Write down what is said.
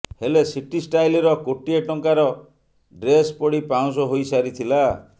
ହେଲେ ସିଟି ଷ୍ଟାଇଲର କୋଟିଏ ଟଙ୍କାର ଡ୍ରେସ୍ ପୋଡି ପାଉଁଶ ହୋଇସାରିଥିଲା